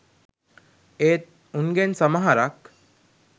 ඒත් උන්ගෙන් සමහරක් .